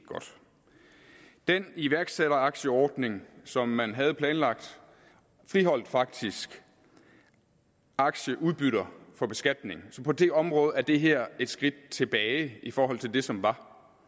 godt den iværksætteraktieordning som man havde planlagt friholdt faktisk aktieudbytter for beskatning så på det område er det her et skridt tilbage i forhold til det som var